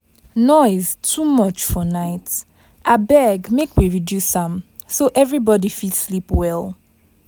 Noise too much for night, abeg make we reduce am so everybody fit sleep well.